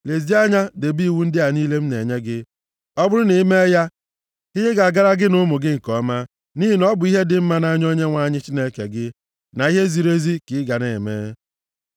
Lezie anya, debe iwu ndị a niile m na-enye gị. Ọ bụrụ na i mee ya, ihe ga-agara gị na ụmụ gị nke ọma, nʼihi na ọ bụ ihe dị mma nʼanya Onyenwe anyị Chineke gị, na ihe ziri ezi ka ị ga na-eme.